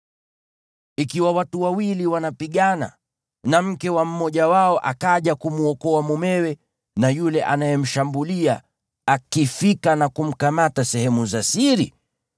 Ikiwa watu wawili wanapigana na mke wa mmoja wao akaja kumwokoa mumewe na yule anayemshambulia, naye mke huyo akifika na kumkamata sehemu za siri,